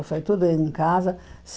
Eu fui tudo em casa.